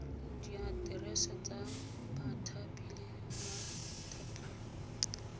diaterese tsa bathapi le bathapiwa